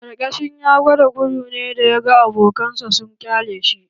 Ƙyarkecin ya gwada gudu ne da ya ga abokan sa sun ƙyale shi